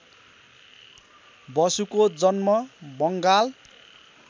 बसुको जन्म बङ्गाल